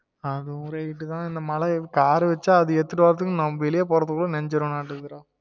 அதுவும் right உஹ் தான் இந்த மழ car வச்சா அதா எடுத்துட்டு வரதுக்கு நான் வெளிய போறப்போ நனஜிருவநாட்டு இருக்குது டா